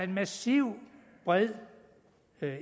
massiv bred